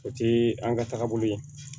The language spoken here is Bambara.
O ti an ka taagabolo ye